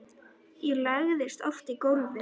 Ég lagðist oft í gólfið.